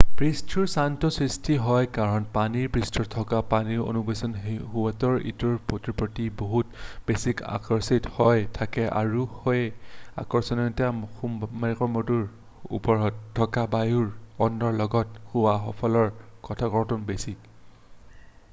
পৃষ্ঠৰ টানটো সৃষ্টি হয় কাৰণ পানীৰ পৃষ্ঠত থকা পানীৰ অনুবোৰ ইটোৱে সিটোৰ প্ৰতি বহুত বেছিকৈ আকৰ্ষিত হৈ থাকে আৰু সেই আকৰ্ষণটো সেইবোৰৰ ওপৰত থকা বায়ুৰ অনুৰ লগত হোৱা সেইবোৰৰ আকৰ্ষণতকৈ বেছি